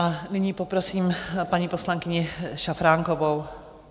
A nyní poprosím paní poslankyni Šafránkovou.